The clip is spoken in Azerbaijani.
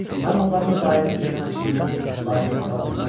Mən onların daimi düşmənçiliyinə laqeyd qala bilməzdim.